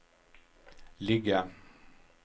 ligga